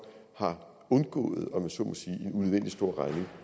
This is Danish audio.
har undgået en om jeg så må sige unødvendig stor regning